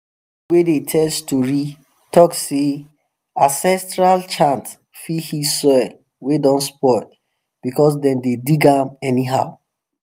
wey dey tell story talk sey ancestral chant fit heal soil wey don spoil because dem dey dig am anyhow